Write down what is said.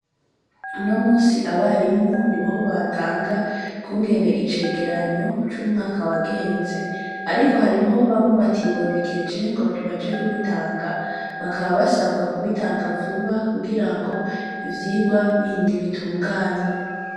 Uno munsi, abarimu niho batanga ukungene icegeranyo c'umwaka wagenze, ariko hariho bamwe batibonekeje ngo baje kubitanga, bakaba basabwa kubitanga vuba kugira ngo ivyigwa bindi bitunganywe.